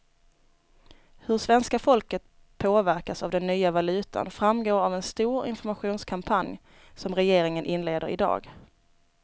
Hur svenska folket påverkas av den nya valutan framgår av en stor informationskampanj som regeringen inleder i dag.